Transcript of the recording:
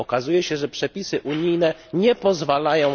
Okazuje się, że przepisy unijne na to nie pozwalają.